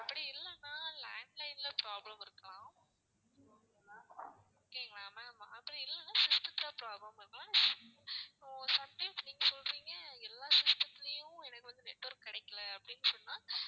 அப்படி இல்லன்னா landline ல problem இருக்கலாம் okay ங்களா ma'am அப்படி இல்லனா system த்துல problem இருக்கலாம் sometimes நீங்க சொல்றீங்க எல்லாம் system த்துலேயும் எனக்கு வந்து network கிடைக்கல அப்படின்னு சொன்னா,